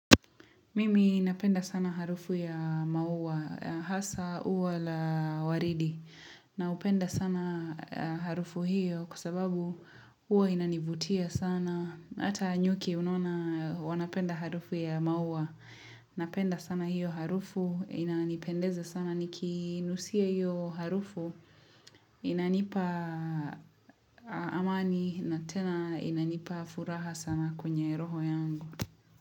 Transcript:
Mimi napenda sana harufu ya maua, hasa uwa la waridi, na upenda sana harufu hiyo kwa sababu uwa inanivutia sana. Hata nyuki unona wanapenda harufu ya maua, inapenda sana hiyo harufu, inanipendeza sana, niki nusia hiyo harufu, inanipa amani na tena inanipa furaha sana kwenye roho yangu.